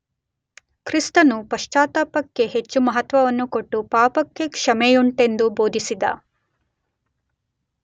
ಕ್ರಿಸ್ತನು ಪಶ್ಚಾತ್ತಾಪಕ್ಕೆ ಹೆಚ್ಚು ಮಹತ್ವವನ್ನು ಕೊಟ್ಟು ಪಾಪಕ್ಕೆ ಕ್ಷಮೆಯುಂಟೆಂದು ಬೋಧಿಸಿದ.